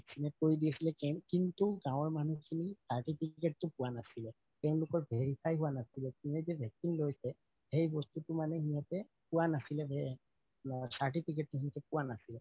কৰি দি আছিলে কিন্তু গাওঁৰ মানুহ খিনি certificate তো পুৱা নাছিলে তেওঁলোকৰ verify হুৱা নাছিলে কিন্তু vaccine লৈছে সেই বস্তুটো মানে সিহতে পুৱা নাছিলে certificate তো যিতো পুৱা নাছিলে